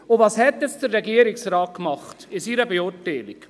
Und was hat jetzt der Regierungsrat in seiner Beurteilung gemacht?